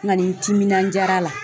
N kani n timinandiyara la